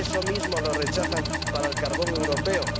¿Eso mismo lo rechazan para el carbón europeo?